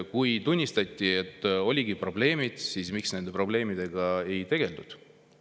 Kui tunnistati, et olid probleemid, siis miks nende probleemidega ei tegeldud?